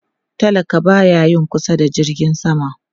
Talaka ba ya yin kusa da jirgin sama